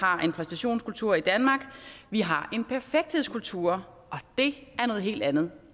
har en præstationskultur i danmark vi har en perfekthedskultur og det er noget helt andet